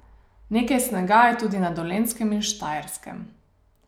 Nekaj snega je tudi na Dolenjskem in Štajerskem.